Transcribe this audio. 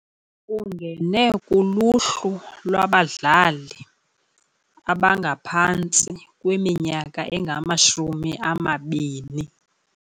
Ungene kuluhlu lwabadlali abangaphantsi kwiminyaka engamashumi amabini.